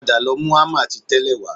Padà lọ mú hámà ti tẹ́lẹ̀ wá